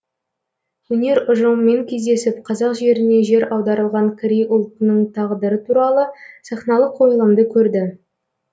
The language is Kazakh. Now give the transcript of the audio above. өнер ұжымымен кездесіп қазақ жеріне жер аударылған корей ұлтының тағдыры туралы сахналық қойылымды көрді